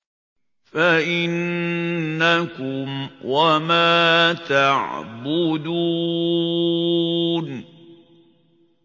فَإِنَّكُمْ وَمَا تَعْبُدُونَ